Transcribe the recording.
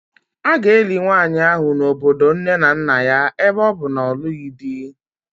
A ga-eli nwanyị ahụ n'obodo nne na nna ya ebe ọ bụ na ọ na-alụghị di